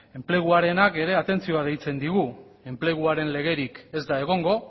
enpleguarenak ere atentzioa deitzen digu enpleguaren legerik ez da egongo